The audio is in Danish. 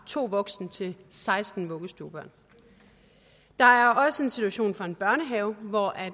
to voksne til seksten vuggestuebørn der er også en situation fra en børnehave hvor